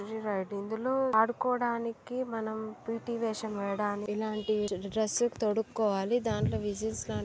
ఆడుకోవడానికి మనం వేషం వేయడానికి ఇలాంటి డ్రస్ లు తొడుక్కోవాలి. దాంట్లో విజిల్స్ లాంటి--